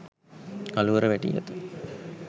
කළුවර වැටී ඇත